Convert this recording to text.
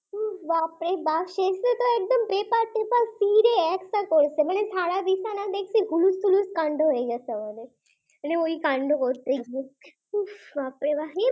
হম বাপরে বাপ শেষে তো একদম পেপার পেপার ছিড়ে একসা করেছে সারা বিছানা দেখছি হুলস্থুলুশ কান্ড হয়ে গেছে একেবারে ওই কান্ড করতে গিয়ে বাপরে বাপ